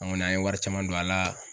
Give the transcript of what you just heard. An kɔni an ye wari caman don a la